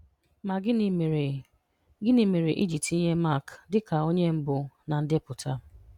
Ma gịnị mere gịnị mere I ji tinye Mark dịka onye mbụ na ndepụta?